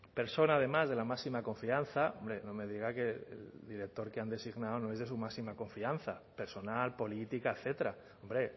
persona además de la máxima confianza no me diga que el director que han designado no es de su máxima confianza personal política etcétera hombre